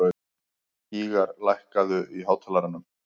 Gýgjar, lækkaðu í hátalaranum.